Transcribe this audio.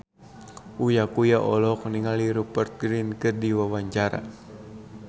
Uya Kuya olohok ningali Rupert Grin keur diwawancara